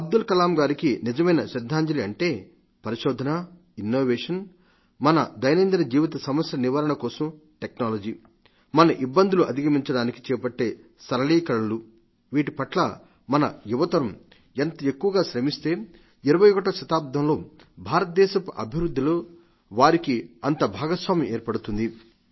అబ్దుల్ కలాం గారికి నిజమైన శ్రద్ధాంజలి అంటే పరిశోధన ఇన్నోవేషన్ మన దైనందిన జీవిత సమస్యల నివారణ కోసం టెక్నాలజీ మన ఇబ్బందులు అధిగమించడానికి చేపట్టే సరళీకరణలు వీటిపట్ల మన యువతరం ఎంత ఎక్కువగా శ్రమిస్తుందో 21వ శతాబ్దంలో భారతదేశపు అభివృద్ధిలో వారికి అంత భాగస్వామ్యం ఏర్పడుతుంది